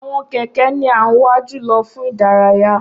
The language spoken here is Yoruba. Awọn kẹkẹ ni a n wa julọ fun idaraya.